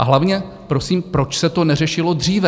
A hlavně, prosím, proč se to neřešilo dříve?